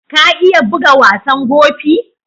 Ka iya bugan wasan Gofi?